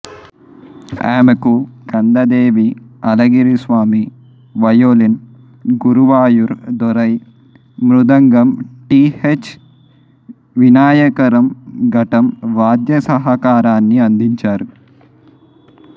ఆమెకు కందదేవి అళగిరిస్వామి వయోలిన్ గురువాయూర్ దొరై మృదంగం T H Vinayakram ఘటం వాద్య సహకారాన్ని అందించారు